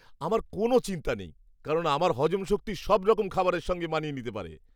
আমার কোনও চিন্তা নেই, কারণ আমার হজম শক্তি সব রকম খাবারের সঙ্গে মানিয়ে নিতে পারে।